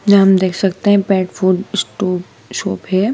ये हम देख सकते हैं पेट फूड स्टोर शॉप है।